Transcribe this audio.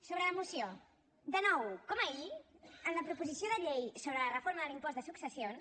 sobre la moció de nou com ahir en la proposició de llei sobre la reforma de l’impost de successions